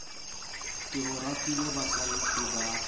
ke o ratela bohlalefi ba